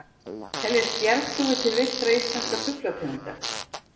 Teljast bjargdúfur til villtra íslenskra fuglategunda?